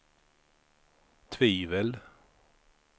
tvivel